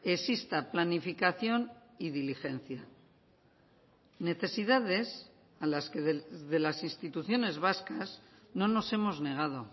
exista planificación y diligencia necesidades a las que de las instituciones vascas no nos hemos negado